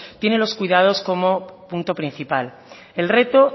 tiene los cuidados como punto principal el reto